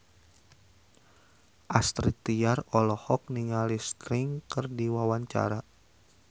Astrid Tiar olohok ningali Sting keur diwawancara